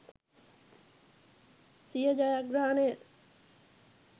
සිය ජයග්‍රහණය